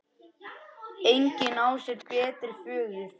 Engin á sér betri föður.